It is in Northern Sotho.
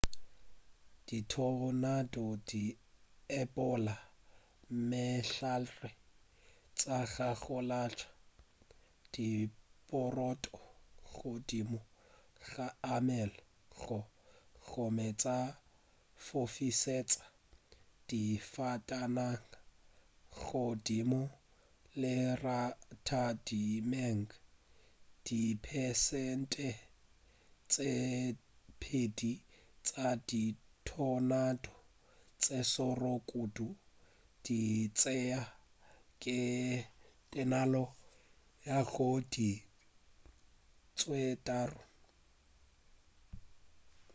dithonado di epolla mehlare tša gagolantšha diporoto godimo ga meago gomme tša fofišetša difatanaga godimo leratadimeng diperesente tše pedi tša dithonado tše šoro kudu di tšea tekano ya go feta diiri tše tharo